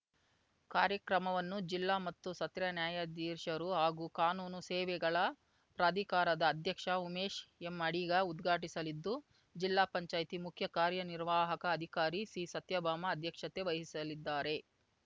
ಕಾರ್ಯಕ್ರಮವನ್ನು ಜಿಲ್ಲಾ ಮತ್ತು ಸತ್ರ ನ್ಯಾಯಾಧೀಶರು ಹಾಗೂ ಕಾನೂನು ಸೇವೆಗಳ ಪ್ರಾಧಿಕಾರದ ಅಧ್ಯಕ್ಷ ಉಮೇಶ್‌ ಎಂ ಅಡಿಗ ಉದ್ಘಾಟಿಸಲಿದ್ದು ಜಿಲ್ಲಾಪಂಚಾಯ್ತಿ ಮುಖ್ಯ ಕಾರ್ಯನಿರ್ವಾಹಕ ಅಧಿಕಾರಿ ಸಿಸತ್ಯಭಾಮ ಅಧ್ಯಕ್ಷತೆ ವಹಿಸಲಿದ್ದಾರೆ